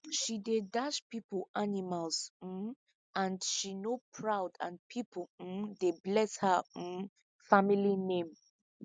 she dey dash people animals um and she no proud and people um dey bless her um family name